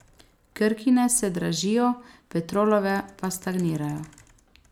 Krkine se dražijo, Petrolove pa stagnirajo.